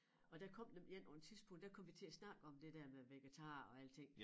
Og der kom nemlig én på en tidspunkt der kom vi til at snakke om det der med vegetar og alting